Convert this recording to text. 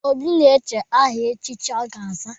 Obi na-eche aha echichi ọ ga-aza.